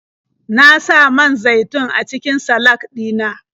Na sa man zaitun a cikin salak ɗina.